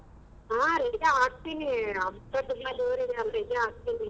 ಹಾ ರಜೆ ಹಾಕ್ತಿನಿ ಹಬ್ಬ ತುಂಬಾ ಜೋರ್ ಇದೆ ಅಂದ್ರೆ ಇದೆ ಹಾಕ್ತಿನಿ.